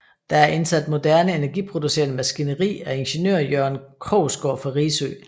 Der er indsat moderne energiproducerende maskineri af ingeniør Jørgen Krogsgård fra Risø